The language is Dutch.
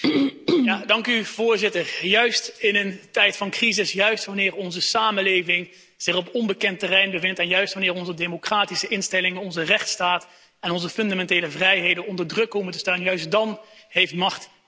Voorzitter, juist in een tijd van crisis, wanneer onze samenleving zich op onbekend terrein bevindt en wanneer onze democratische instellingen, onze rechtsstaat en onze fundamentele vrijheden onder druk staan, heeft macht tegenmacht nodig.